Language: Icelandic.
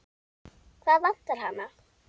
Hvað vantar hana?